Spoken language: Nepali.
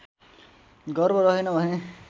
गर्भ रहेन भने